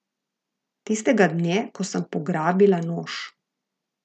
Tistega dne, ko sem pograbila nož.